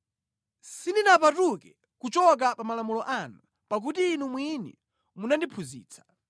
Sindinapatuke kuchoka pa malamulo anu, pakuti Inu mwini munandiphunzitsa.